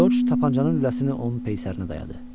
George tapançanın lüləsini onun peysərinə dayadı.